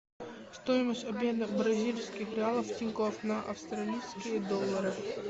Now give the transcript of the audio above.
стоимость обмена бразильских реалов в тинькофф на австралийские доллары